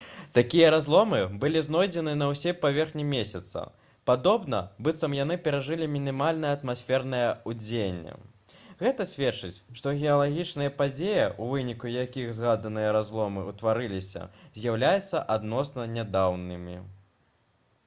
такія разломы былі знойдзены на ўсёй паверхні месяца падобна быццам яны перажылі мінімальнае атмасфернае ўздзеянне гэта сведчыць што геалагічныя падзеі у выніку якіх згаданыя разломы ўтварыліся з'яўляюцца адносна нядаўнімі